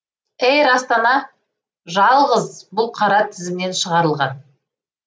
эйр астана жалғыз бұл қара тізімнен шығарылған